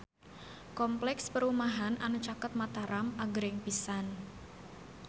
Kompleks perumahan anu caket Mataram agreng pisan